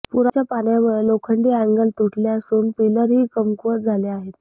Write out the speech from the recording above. पुराच्या पाण्यामुळे लोखंडी अँगल तुटले असून पिलर ही कमकुवत झाले आहेत